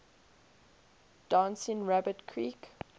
dancing rabbit creek